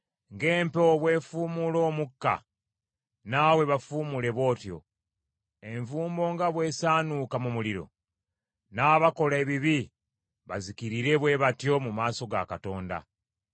Ng’empewo bw’efuumuula omukka, naawe bafuumuule bw’otyo; envumbo nga bw’esaanuuka mu muliro, n’abakola ebibi bazikirire bwe batyo mu maaso ga Katonda!